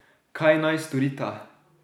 Kaj naj storita?